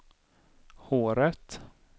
håret